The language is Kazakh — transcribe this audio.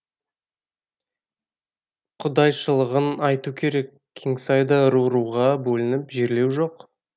құдайшылығын айту керек кеңсайда ру руға бөліп жерлеу жоқ